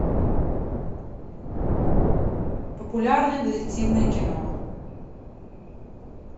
популярное детективное кино